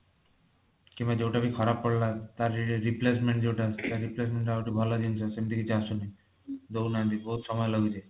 କିମ୍ବା ଯୋଊଟା ବି ଖରାପ ପଡିଲା ତାର replacement ଯୋଊଟା ତାର replacement ଟା ହଉଛି ଭଲ ଜିନିଷ ସେମିତି କିଛି ଆସୁନି ଦଉନାହାନ୍ତି ବହୁତ ସମୟ ଲାଗୁଛି